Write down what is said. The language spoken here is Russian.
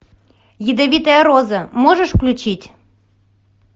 ядовитая роза можешь включить